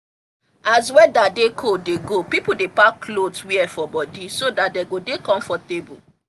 as weather they cold dey go people dey pack clothes wear for body so that dey go dey comfortable